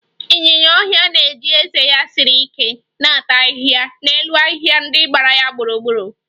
Ịnyinya ọhịa na-eji ezé ya siri ike na-ata ahịhịa n'elu ahịhịa ndị gbara ya gburugburu